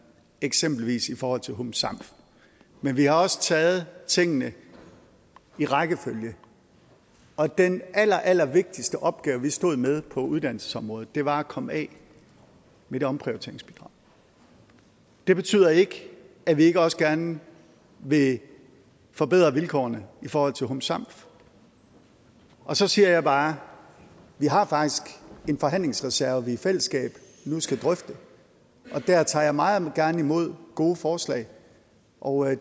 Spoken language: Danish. eksempelvis i forhold til hum sam men vi har også taget tingene i rækkefølge og den allerallervigtigste opgave vi stod med på uddannelsesområdet var at komme af med det omprioriteringsbidrag det betyder ikke at vi ikke også gerne vil forbedre vilkårene i forhold til hum sam og så siger jeg bare vi har faktisk en forhandlingsreserve i fællesskab vi nu skal drøfte og der tager jeg meget gerne imod gode forslag og